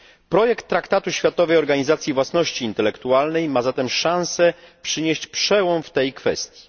Projekt traktatu Światowej Organizacji Własności Intelektualnej ma zatem szanse zapoczątkować przełom w tej kwestii.